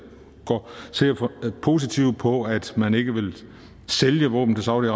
positivt på at man ikke vil sælge våben til saudi